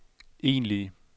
egentlige